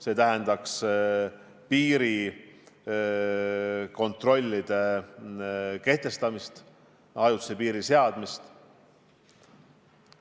See tähendaks piirikontrolli kehtestamist, ajutise piiri seadmist.